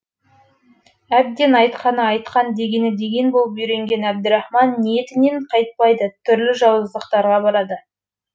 әбден айтқаны айтқан дегені деген болып үйренген әбдірахман ниетінен қайтпайды түрлі жауыздықтарға барады